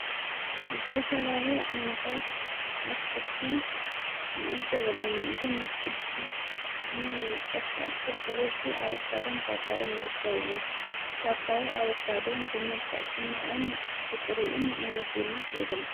ዝፈላለይ ዓይነታት ኣትክልቲ ንእዘብ ኣለና እዞም አትክልቲ ሽሙም ንምጥቃስ ዛክል ብበዚኂ ኣበካዶን ጳጳዮን ይረከውን ጳጳዮ ኣበካዶን ብመልቃዕ ጽማቕን ብጥሪዩን ንምግብነት የገልግል፡፡